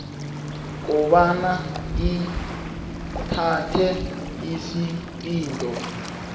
kobana ithathe isiqunto